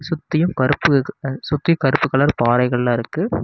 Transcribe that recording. சுத்தியும் கருப்பு சுத்தி கருப்பு கலர் பாறைகெல்லா இருக்கு.